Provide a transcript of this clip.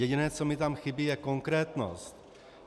Jediné, co mi tam chybí, je konkrétnost.